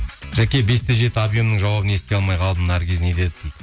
жәке бес те жеті объемнің жауабын ести алмай қалдым наргиз не деді дейді